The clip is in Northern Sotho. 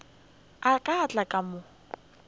a ka tla ka mo